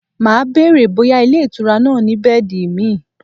Màá bèrè bóyá ilé-ìtura náà ni bẹ́ẹ̀dì míì.